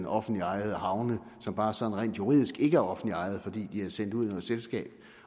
offentligt ejede havne som bare sådan rent juridisk ikke er offentligt ejet fordi de er sendt ud med selskab